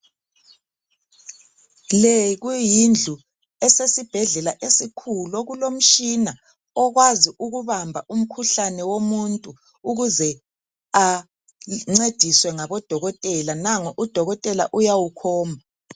Le kuyindlu esesibhedlela esikhulu okulomshina okwazi ukuhamba umkhuhlane womuntu ukuze ancediswe ngabodokotela nango udokotela uyawukhomba